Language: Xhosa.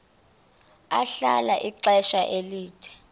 ahlala ixesha elide